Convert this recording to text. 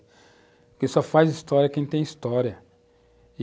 ( respiração) Porque só faz história quem tem história.